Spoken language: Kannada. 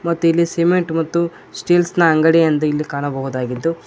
ಮತ್ತು ಇಲ್ಲಿ ಸಿಮೆಂಟ್ ಮತ್ತು ಸ್ಟೀಲ್ಸ್ ನ ಅಂಗಡಿ ಅಂದು ಇಲ್ಲಿ ಕಾಣಬಹುದಾಗಿದ್ದು--